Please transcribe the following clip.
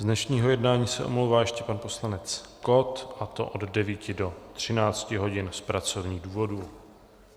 Z dnešního jednání se omlouvá ještě pan poslanec Kott a to od 9 do 13 hodin z pracovních důvodů.